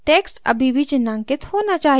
text अभी भी चिन्हांकित होना चाहिए